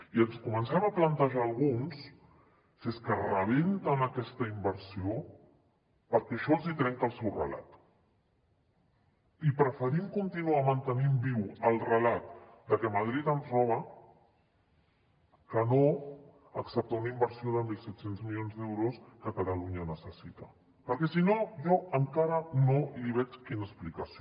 i ens comencem a plantejar alguns si és que rebenten aquesta inversió perquè això els hi trenca el seu relat i preferim continuar mantenint viu el relat de que madrid ens roba que no acceptar una inversió de mil set cents milions d’euros que catalunya necessita perquè si no jo encara no l’hi veig l’explicació